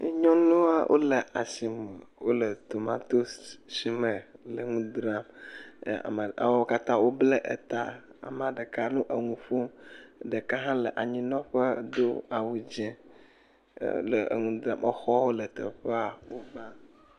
Nyɔnuawo le asime wole tomatosi sime dzra. E ameawo katã woble ta. Amea ɖeka nɔ nuƒom, ɖeka hã le anyinɔƒe do awu dzɛ le nu dzram. Exɔwo le teƒea.